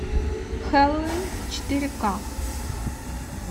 хэллуин четыре ка